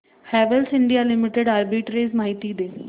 Havells India Limited arbitrage माहिती दे